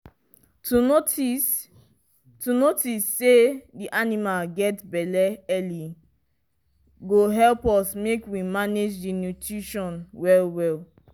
to notice to notice say the animal get belle early go help us make we manage the nutition well well